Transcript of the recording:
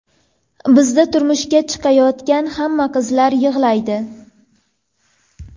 Bizda turmushga chiqayotgan hamma qizlar yig‘laydi.